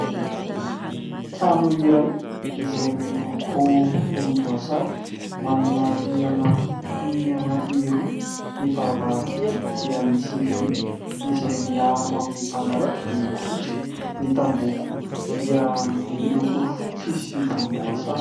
Trano iray izay miloko volomboasary, manana rihana mitohy anankiroa, ny varavarankely dia misy vy izay miaro amin'ny mpangalatra miloko fotsy, ny tamboho koa dia miloko fotsy sy volomboasary.